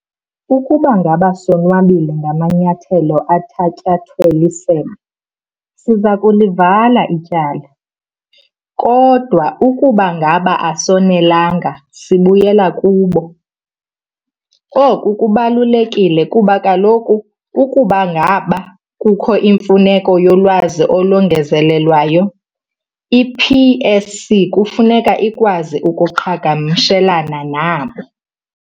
"Ukuba ngaba sonwabile ngamanyathelo athatyathwe lisebe, siza kulivala ityala, kodwa ukuba ngaba asonelanga, sibuyela kubo". Oku kubalulekile kuba kaloku ukuba ngaba kukho imfuneko yolwazi olongezelelweyo, i-PSC kufuneka ikwazi ukuqhagamshelana nabo.